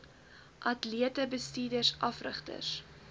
atlete bestuurders afrigters